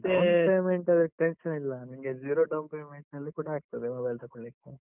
Down payment ಅದಕ್ಕೆ tension ಇಲ್ಲ, ನಿಂಗೆ zero down payment ನಲ್ಲಿ ಕೂಡ ಆಗ್ತದೆ, mobile ತಕೋಳಿಕ್ಕೆ.